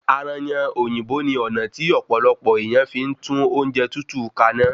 Ayanran òyìnbó ni ọna ti ọ̀pọ̀lọpọ̀ èèyàn fí ń tún oúnjẹ tútù kaná